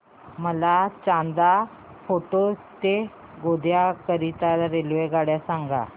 मला चांदा फोर्ट ते गोंदिया करीता रेल्वेगाडी सांगा